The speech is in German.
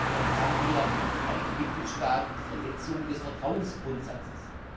Damit haben wir in einigen Mitgliedstaaten die Verletzung des Vertrauensgrundsatzes.